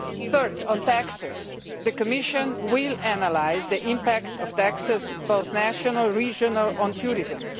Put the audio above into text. Third, on taxes, the Commission will analyse the impact of taxes both national and regional on tourism.